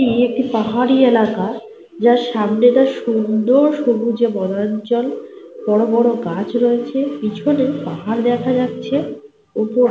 এই একটি পাহাড়ি এলাকা যার সামনেটা সুন্দর সবুজে বনাঞ্চল। বড় বড় গাছ রয়েছে। পিছনে গাছ দেখা যাচ্ছে। ওপর--